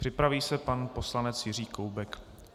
Připraví se pan poslanec Jiří Koubek.